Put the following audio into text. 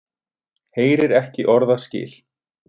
Heyrir ekki orðaskil.